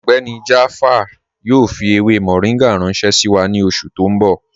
Ọgbẹ́ni Jaafar yoo fi ewé moringa ranṣẹ̀ sí wa ni oṣù ti n bọ̀.